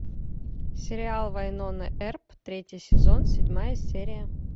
сериал вайнона эрп третий сезон седьмая серия